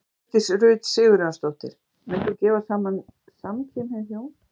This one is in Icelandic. Hjördís Rut Sigurjónsdóttir: Munt þú gefa saman samkynhneigð hjón?